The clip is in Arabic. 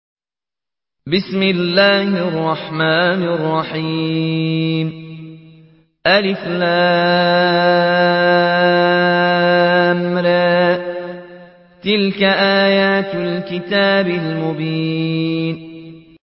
الر ۚ تِلْكَ آيَاتُ الْكِتَابِ الْمُبِينِ